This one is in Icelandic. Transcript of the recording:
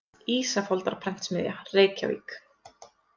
Ísafoldarprentsmiðja, Reykjavík.